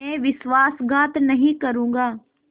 मैं विश्वासघात नहीं करूँगा